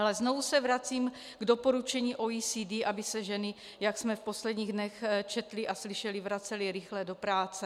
Ale znovu se vracím k doporučení OECD, aby se ženy, jak jsme v posledních dnech četli a slyšeli, vracely rychle do práce.